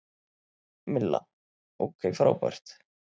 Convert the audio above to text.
Milla: Ok frábært.